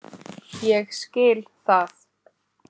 Ég skil það.